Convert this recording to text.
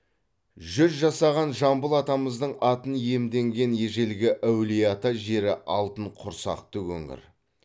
жүз жасаған жамбыл атамыздың атын иемденген ежелгі әулиеата жері алтын құрсақты өңір